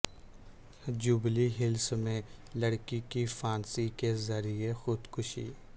jubilee Hills میں لڑکی کی پھانسی کے ذریعہ خودکشی